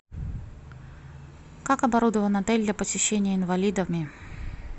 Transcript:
как оборудован отель для посещения инвалидами